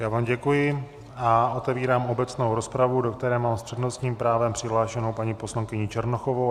Já vám děkuji a otevírám obecnou rozpravu, do které mám s přednostním právem přihlášenu paní poslankyni Černochovou.